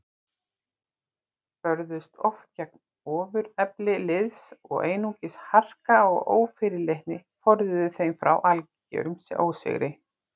Börðust oft gegn ofurefli liðs og einungis harka og ófyrirleitni forðuðu þeim frá algerum ósigri.